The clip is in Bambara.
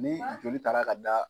Ni joli taara ka da.